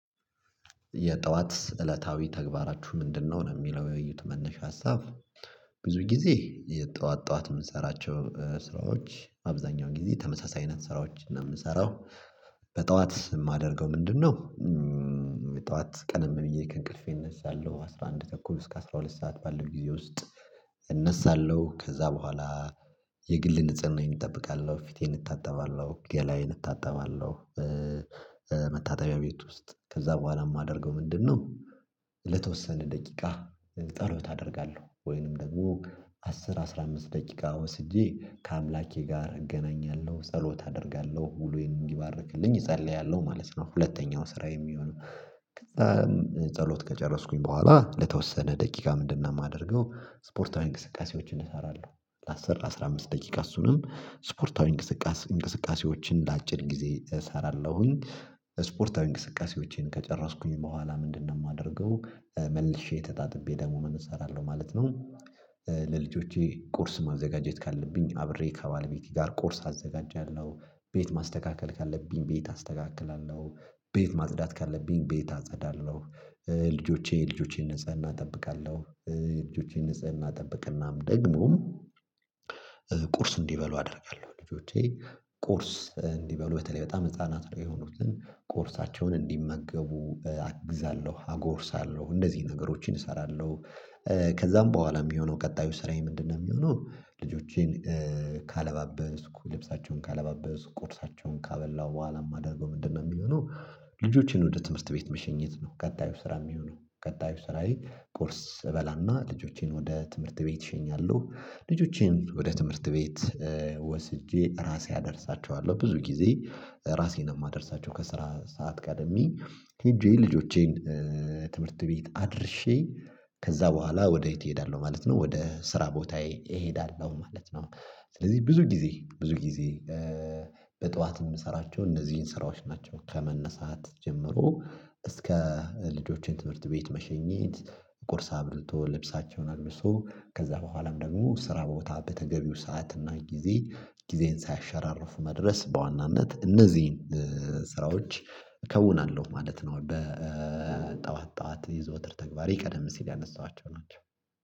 የጧት እለታዊ ተግባራችሁ ምንድነው ነው የሚለው የውይይት መነሻ ሀሳብ? ብዙ ጊዜ የጠዋት ጠዋት የምንሰራቸው ስራዎች አብዛኛው ጊዜ ተመሳሳይ አይነት ስራዎች ነው የምንሰራው። በጧት የማደርገው ምንድነው? ጠዋት ቀደም ብየ ከእንቅልፌ እነሳለሁ አስራ አንድ ተኩል እስከ አስራ ሁለት ሰዓት ባለው ጊዜ ውስጥ እነሳለሁ ከዛ በኋላ የግል ንጽህናዬን እጠብቃለሁ ፊቴን እታጠባለሁ ገላየን እታጠባለሁ። መታጠቢያ ቤት ውስጥ ከዛ በኋላ የማደርገው ምንድነው? ለተወሰነ ደቂቃ ጸሎት አደርጋለሁ ወይንም ደግሞ አስር አስራ አምስት ደቂቃ ወስጄ ከአምላኬ ጋር እገናኛለሁ ጸሎት አደርጋለሁ ውሎየን እንዲባርክልኝ እጸልያለሁ ማለት ነው። ሁለተኛው ስራየ የሚሆነው። ጸሎት ከጨረስኩኝ በኋላ ለተወሰነ ደቂቃ ምንድነው የማደርገው? ስፖርታዊ እንቅስቃሴዎችን እሰራለሁ ለአስር ላአስራ አምስት ደቂቃ እሱንም ስፖርታዊ እንቅስቃሴ እንቅስቃሴዎችን ለአጭር ጊዜ እሰራለሁኝ። ስፖርታዊ እንቅስቃሴዎቼን ከጨረስኩኝ በኋላ ምንድነው የማደርገው? መልሼ ተጣጥቤ ደግሞ ምን እሰራለሁ ማለት ነው። ለልጆቼ ቁርስ ማዘጋጀት ካለብኝ አብሬ ከባለቤቴ ጋር ቁርስ አዘጋጃለሁ ቤት ማስተካከል ካለብኝ ቤት አስተካክላለሁ። ቤት ማጽዳት ካለብኝ ቤት አጸዳለሁ። የልጆቼን ንጽህና እጠብቃለሁ። ልጆቼን ንጽህና እጠብቅናም ደግሞ ቁርስ እንዲበሉ አደርጋለሁ ልጆቼ ቁርስ እንዲበሉ በተለይ በጣም ህፃናት ነው የሆኑትን ቁርሳቸውን እንዲመገቡ አግዛለሁ አጎርሳለሁ እንደዚህ ነገሮችን እሰራለሁ። ከዛም በኋላ የሚሆነው ቀጣዩ ስራዬ ምንድነው የሚሆነው? ልጆቼን ካለባበስኩ ልብሳቸውን ካለባበስኩ ቁርሳቸውን ካበላው በኋላ የማደርገው ምንድነው የሚሆነው? ልጆቼን ወደ ትምህርት ቤት መሸኘት ነው። ቀጣዩ ስራ የሚሆነው ቀጣዩ ስራዬ ቁርስ እበላና ልጆቼን ወደ ትምህርት ቤት እሸኛለሁ። ልጆቼን ወደ ትምህርት ቤት ወስጄ ራሴ አደርሳቸዋለሁ። ብዙ ጊዜ ራሴን የማደርሳቸው ከስራ ሰዓት ቀድሜ ሄጄ ልጆቼን ትምህርት ቤት አድርሼ ከዛ በኋላ ወደ እህቴ እሄዳለሁ ማለት ነው። ወደ ስራ ቦታዬ እሄዳለሁ ማለት ነው። ስለዚህ ብዙ ጊዜ ብዙ ጊዜ በጧት የምሰራቸው እነዚህን ስራዎች ናቸው። ከመነሳት ጀምሮ እስከ ልጆችን ትምህርት ቤት መሸኘት ቁርስ አብልቶ ልብሳቸውን አልብሶ ከዛ በኋላም ደግሞ ስራ ቦታ በተገቢው ሰዓት እና ጊዜ ጊዜን ሳያሸራርፉ መድረስ በዋናነት እነዚህን ስራዎች እከውናለሁ ማለት ነው። በጧት ጠዋት የዘወትር ተግባር የቀደም ሲል ያነሳኋቸው ናቸው